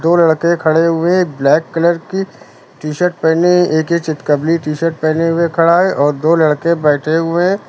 दो लड़के खड़े हुए ब्लैक कलर की टी-शर्ट पहने एक ये चितकबरी टी-शर्ट पहने हुए खड़ा है और दो लड़के बैठे हुए हैं।